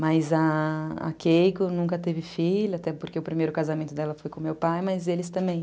Mas a Keiko nunca teve filha, até porque o primeiro casamento dela foi com o meu pai, mas eles também.